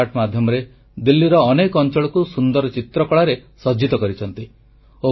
street art ମାଧ୍ୟମରେ ଦିଲ୍ଲୀର ଅନେକ ଅଂଚଳକୁ ସୁନ୍ଦର ଚିତ୍ରକଳାରେ ସଜ୍ଜିତ କରିଛନ୍ତି